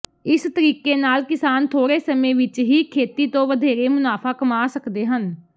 ਇਸ ਤਰੀਕੇ ਨਾਲ ਕਿਸਾਨ ਥੋੜੇ ਸਮੇਂ ਵਿਚ ਹੀ ਖੇਤੀ ਤੋਂ ਵਧੇਰੇ ਮੁਨਾਫਾ ਕਮਾ ਸਕਦੇ ਹਨ